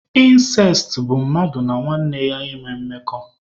Ịnsest bụ mmadụ na nwanne ya ịnwe mmekọ.